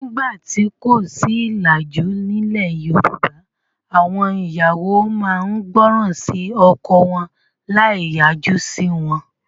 Nígbà tí kò sí ìlàjú, nílẹ̀ Yorùbá àwọn ìyàwó máa ń gbọ́ràn sí ọkọ wọn láì yájú sí wọn.